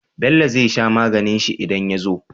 Bello zai sha maganin shi idan yazo?